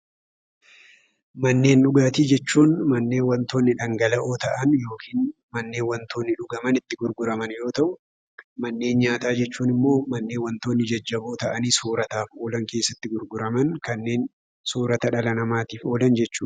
Manneen dhugaatii jechuun manneen wantoonni dhangala'oo ta'an yookiin manneen wantoonni itti dhuga'aman gurguraman yommuu ta'u, manneen nyaataa jechuun ammoo manneen wantoonni jajjaboo ta'an soorataaf ta'an keessatti gurguraman kanneen soorata dhala namaatiif oolan jechuudha.